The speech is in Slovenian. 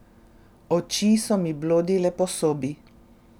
Oči so mi blodile po sobi.